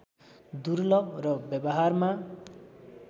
दुर्लभ र व्यवहारमा